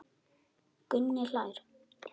Gunni hlær.